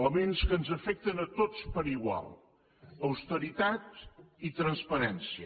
elements que ens afecten a tots per igual austeritat i transparència